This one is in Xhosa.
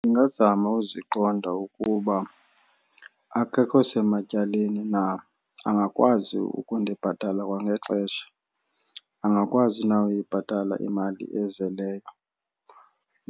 Ndingazama uziqonda ukuba akekho sematyaleni na, angakwazi ukundibhatala kwangexesha angakwazi na uyibhatala imali ezeleyo